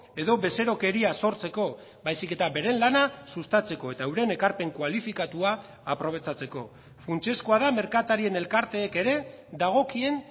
edo bezerokeria sortzeko baizik eta beren lana sustatzeko eta euren ekarpen kualifikatua aprobetxatzeko funtsezkoa da merkatarien elkarteek ere dagokien